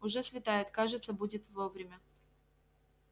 уже светает кажется будем вовремя